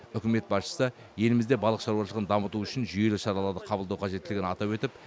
үкімет басшысы елімізде балық шаруашылығын дамыту үшін жүйелі шаралары қабылдау қажеттілігін атап өтіп